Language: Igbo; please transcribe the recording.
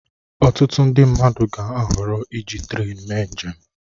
Ọtụtụ ndị mmadụ ga-ahọrọ iji trén mee njem